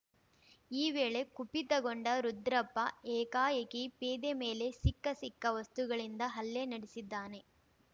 ಈ ವೇಳೆ ಕುಪಿತಗೊಂಡ ರುದ್ರಪ್ಪ ಏಕಾಏಕಿ ಪೇದೆ ಮೇಲೆ ಸಿಕ್ಕ ಸಿಕ್ಕ ವಸ್ತುಗಳಿಂದ ಹಲ್ಲೆ ನಡೆಸಿದ್ದಾನೆ